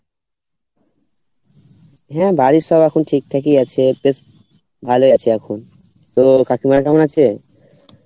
হ্যাঁ বাড়ির সব এখন ঠিক ঠাকই আছে বেশ ভালো আছে এখন কাকিমা কেমন আছে?